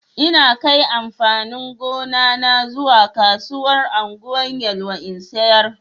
Ina kai amfanin gona na zuwa kasuwar Ungwan Yelwa in sayar.